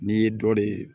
N'i ye dɔ de ye